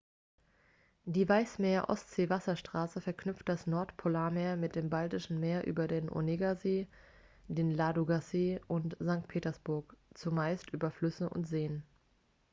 die weißmeer-ostsee-wasserstraße verknüpft das nordpolarmeer mit dem baltischen meer über den onegasee den ladogasee und sankt petersburg zumeist über flüsse und seen